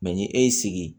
ni e y'i sigi